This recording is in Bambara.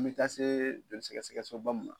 An bɛ taa se don sɛgɛsɛgɛsoba